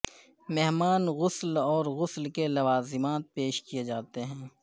مہمان غسل اور غسل کے لوازمات پیش کیے جاتے ہیں